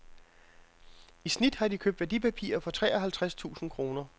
I snit har de købt værdipapirer for tre og halvtreds tusind kroner.